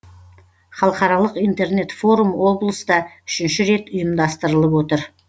халықаралық интернет форум облыста үшінші рет ұйымдастырылып отыр